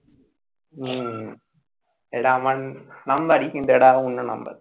হম এটা আমার number ই কিন্তু অন্য number